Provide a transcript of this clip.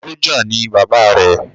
Sọ́jà ni Bàbá rẹ